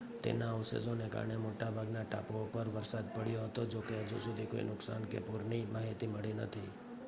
તેના અવશેષોને કારણે મોટા ભાગના ટાપુઓ પર વરસાદ પડ્યો હતો જોકે હજુ સુધી કોઈ નુકસાન કે પૂરની માહિતી મળી નથી